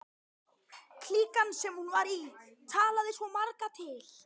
Klíkan, sem hún var í, talaði svo marga til.